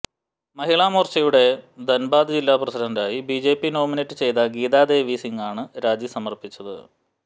മഹിളാ മോര്ച്ചയുടെ ധന്ബാദ് ജില്ലാ പ്രസിഡന്റായി ബിജെപി നോമിനേറ്റ് ചെയ്ത ഗീത ദേവി സിംഗാണ് രാജിസമര്പ്പിച്ചത്